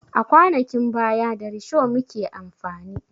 A kwanakin baya da risho muke amfani